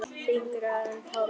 Þyngra en tárum taki!